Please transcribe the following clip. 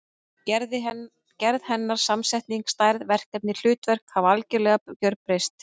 Gerð hennar, samsetning, stærð, verkefni og hlutverk hafa gjörbreyst.